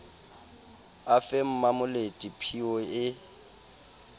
a fe mmamolete phiyo e